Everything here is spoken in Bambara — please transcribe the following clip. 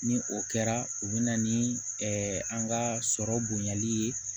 Ni o kɛra u bɛ na ni an ka sɔrɔ bonyali ye